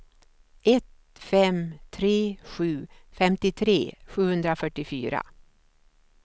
ett fem tre sju femtiotre sjuhundrafyrtiofyra